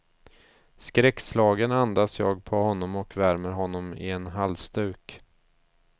Skräckslagen andas jag på honom och värmer honom i en halsduk.